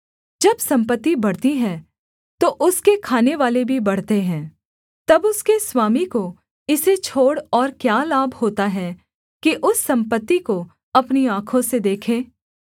जब सम्पत्ति बढ़ती है तो उसके खानेवाले भी बढ़ते हैं तब उसके स्वामी को इसे छोड़ और क्या लाभ होता है कि उस सम्पत्ति को अपनी आँखों से देखे